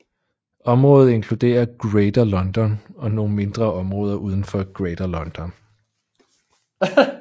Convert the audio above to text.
Området inkluderer Greater London og nogle mindre områder udenfor Greater London